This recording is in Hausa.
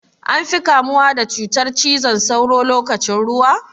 An fi kamuwa da cutar cizon sauro lokacin ruwa?